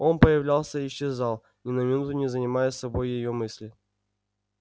он появлялся и исчезал ни на минуту не занимая собой её мыслей